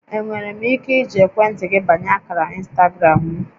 Enwere m ike iji ekwentị gị banye ákàrà ịnstagram m?